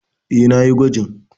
E, na yi gwajin.